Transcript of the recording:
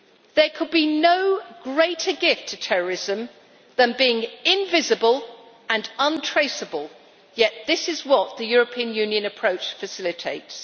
There could be no greater gift to terrorism than being invisible and untraceable, yet this is what the European Union approach facilitates.